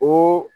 O